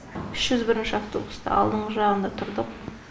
үш жүз бірінші автобуста алдыңғы жағында тұрдық